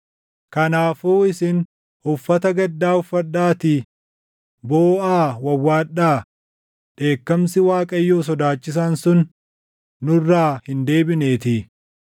Kanaafuu isin uffata gaddaa uffadhaatii booʼaa wawwaadhaa; dheekkamsi Waaqayyoo sodaachisaan sun nurraa hin deebineetii.